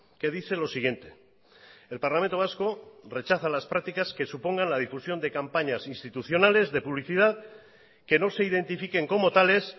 que dice lo siguiente el parlamento vasco rechaza las prácticas que supongan la difusión de campañas institucionales de publicidad que no se identifiquen como tales